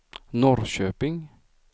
Norrköping